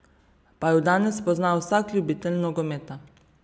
Pa ju danes pozna vsak ljubitelj nogometa.